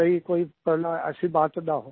कहीं कोई ऐसी बात ना हो